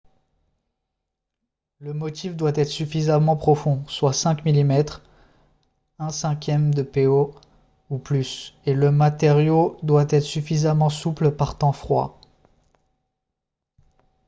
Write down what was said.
le motif doit être suffisamment profond soit 5 mm 1/5 po ou plus et le matériau doit être suffisamment souple par temps froid